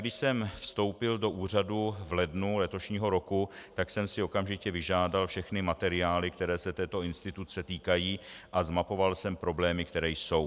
Když jsem vstoupil do úřadu v lednu letošního roku, tak jsem si okamžitě vyžádal všechny materiály, které se této instituce týkají, a zmapoval jsem problémy, které jsou.